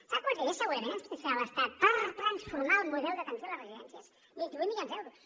sap quants diners segurament ens transferirà l’estat per transformar el model d’atenció a les residències vint i vuit milions d’euros